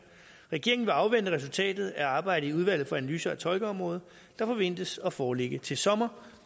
regeringen vil afvente resultatet af arbejdet i udvalget for analyser af tolkeområdet der forventes at foreligge til sommer